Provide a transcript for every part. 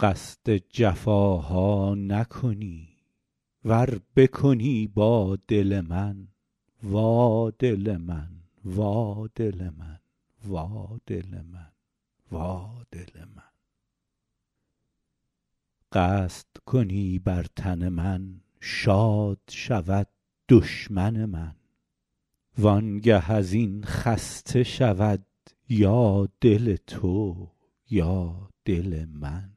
قصد جفاها نکنی ور بکنی با دل من وا دل من وا دل من وا دل من وا دل من قصد کنی بر تن من شاد شود دشمن من وانگه از این خسته شود یا دل تو یا دل من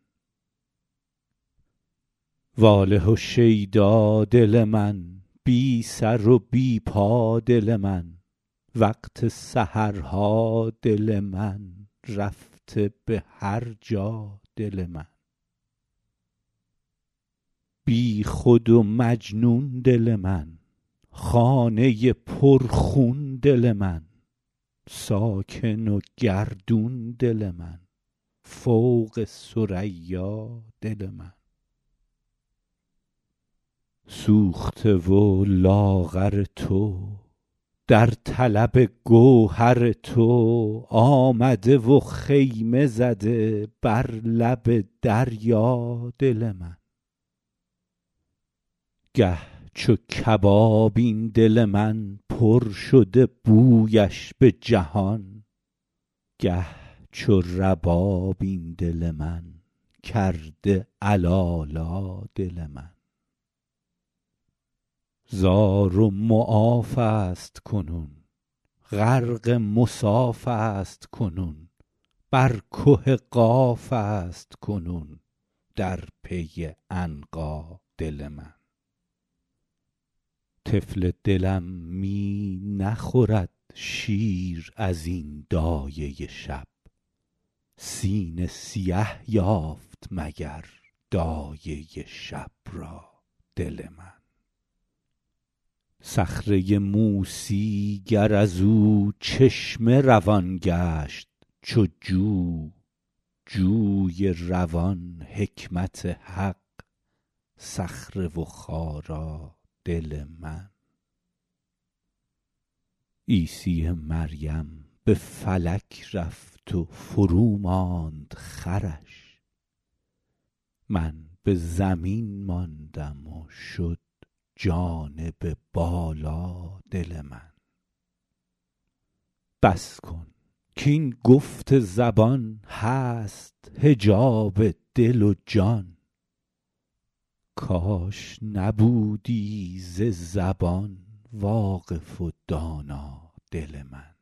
واله و شیدا دل من بی سر و بی پا دل من وقت سحرها دل من رفته به هر جا دل من بیخود و مجنون دل من خانه پرخون دل من ساکن و گردان دل من فوق ثریا دل من سوخته و لاغر تو در طلب گوهر تو آمده و خیمه زده بر لب دریا دل من گه چو کباب این دل من پر شده بویش به جهان گه چو رباب این دل من کرده علالا دل من زار و معاف است کنون غرق مصاف است کنون بر که قاف است کنون در پی عنقا دل من طفل دلم می نخورد شیر از این دایه شب سینه سیه یافت مگر دایه شب را دل من صخره موسی گر از او چشمه روان گشت چو جو جوی روان حکمت حق صخره و خارا دل من عیسی مریم به فلک رفت و فروماند خرش من به زمین ماندم و شد جانب بالا دل من بس کن کاین گفت زبان هست حجاب دل و جان کاش نبودی ز زبان واقف و دانا دل من